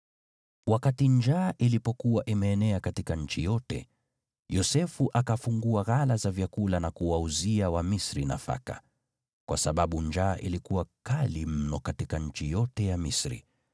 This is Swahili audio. Wakati njaa ilipokuwa imeenea katika nchi yote, Yosefu akafungua ghala za vyakula na kuwauzia Wamisri nafaka, kwa sababu njaa ilikuwa kali mno katika nchi yote ya Misri.